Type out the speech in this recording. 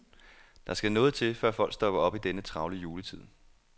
Der skal noget til, før folk stopper op i denne travle juletid.